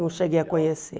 Não cheguei a conhecer.